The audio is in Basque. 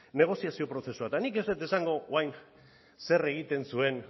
negoziazio prozesua eta nik ez dut esango dut orain zer egiten zuen